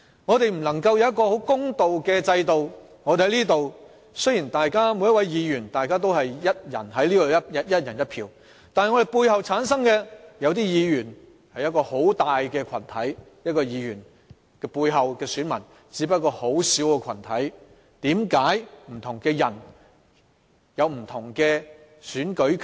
我們未能享有一個公平的制度，雖然立法會的每一位議員在進行表決時能享有"一人一票"的權利，但一些議員本身背後有一個很大的群體支持，而有些議員背後的選民只不過是一個很小的群體，為何不同的人會有不同的選舉權？